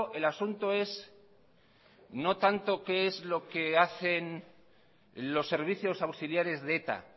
el asunto es no tanto qué es lo que hacen los servicios auxiliares de eta